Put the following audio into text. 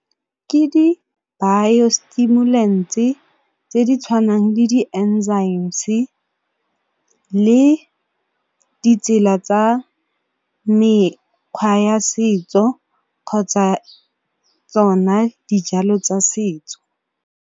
Ke di-bio stimulants-e tse di tshwanang le le ditsela tsa mekgwa ya setso kgotsa tsona dijalo tsa setso.